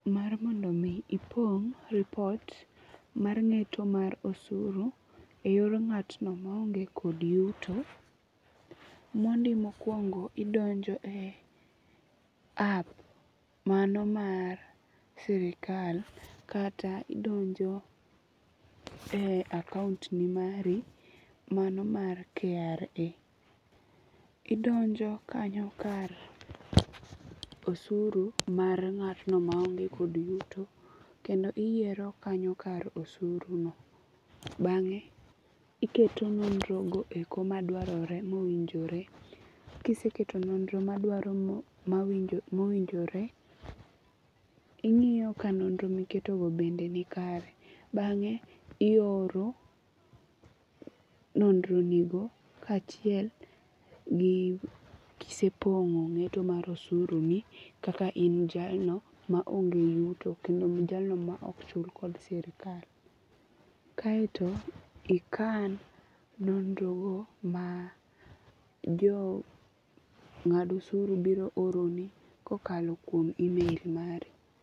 Mar mondo mi ipong' repot mar ng'eto mar osuru e yor ng'atno ma onge kod yuto mondi mokwongo idonjo e app mano mar sirkal kata idonjo e akount ni mari mano mar KRA. Idonjo kanyo kar osuru mar ng'atno maonge kod yuto kendo iyiero kanyo kar osuru no. Bang'e iketo nonro go eko madwarore mowinjore. Kiseketo nonro madwarore mowinjore ing'iyo ka nonro miketo go bende ni kare. Bang'e ioro nonro ni go kachiel gi kisepong'o ng'eto mar osuru ni kaka in jalno ma onge yuto kendo jalno ma ok chul kod sirkal. Kaeto ikan nonro go ma jo ng'ad osuru biro oroni kakalo kuom email mari.